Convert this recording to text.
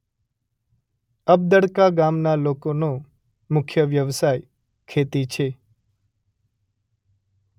અબદળકા ગામના લોકોનો મુખ્ય વ્યવસાય ખેતી છે.